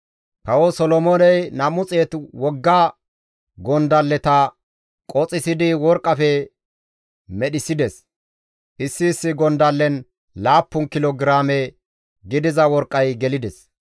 Kawo Solomooney 200 wogga gondalleta qoxissidi worqqafe medhissides; issi issi gondallen laappun kilo giraame gidiza worqqay gelides.